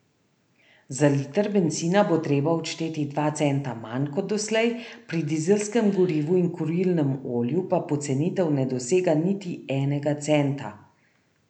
Za liter bencina bo treba odšteti dva centa manj kot doslej, pri dizelskem gorivu in kurilnem olju pa pocenitev ne dosega niti enega centa.